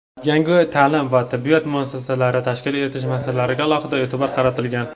yangi ta’lim va tibbiyot muassasalari tashkil etish masalalariga alohida e’tibor qaratilgan.